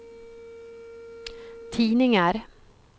tidningar